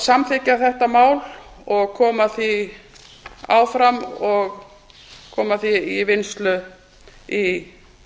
samþykkja þetta mál og koma því áfram og koma fái í vinnslu í